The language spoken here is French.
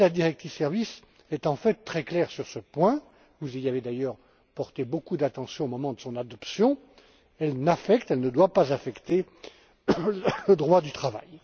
La directive sur les services est, en fait, très claire sur ce point vous y avez d'ailleurs porté beaucoup d'attention au moment de son adoption elle n'affecte pas et ne doit pas affecter le droit du travail.